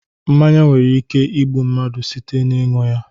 Mmanya nwere ike igbu mmadụ site n'iṅu ya